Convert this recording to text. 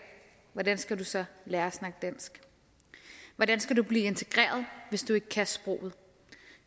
hvordan skal du så lære at snakke dansk hvordan skal du blive integreret hvis du ikke kan sproget